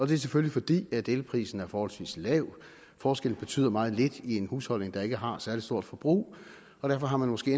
det er selvfølgelig fordi elprisen er forholdsvis lav forskellen betyder meget lidt i en husholdning der ikke har et særlig stort forbrug og derfor har man måske